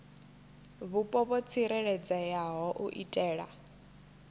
vhupo ho tsireledzeaho u itela